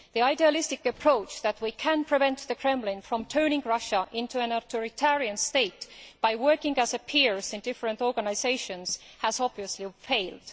The idealistic approach that we can prevent the Kremlin from turning Russia into an authoritarian state by working as peers in different organisations has obviously failed.